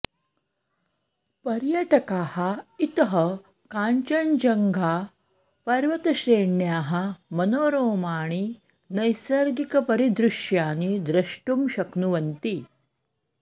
पर्यटकाः इतः काञ्चनजङ्घा पर्वतश्रेण्याः मनोरोमाणि नैसर्गिकपरिदृश्यानि द्रष्टुं शक्नुवन्ति